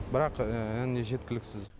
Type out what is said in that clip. бірақ не жеткіліксіз